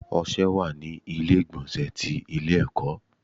Ọṣẹ wà ní ilé ìgbọ̀nsẹ̀ ti ilé ẹ̀kọ́.